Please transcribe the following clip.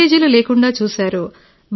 లీకేజీలు లేకుండా చూశారు